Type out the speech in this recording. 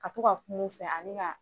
A to ka kuma u fɛ ani ka